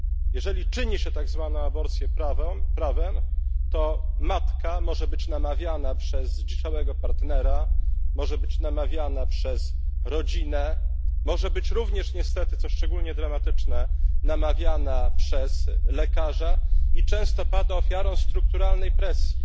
Jeżeli czyni się tak zwaną aborcję prawem, to matka może być namawiana przez zdziczałego partnera, może być namawiana przez rodzinę, może być również niestety co szczególnie dramatyczne namawiana przez lekarza, i często pada ofiarą strukturalnej presji.